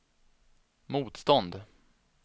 motstånd